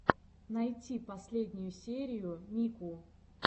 найти последнюю серию мику